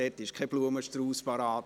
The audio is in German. Es ist kein Blumenstrauss bereit.